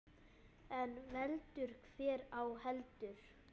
En veldur hver á heldur.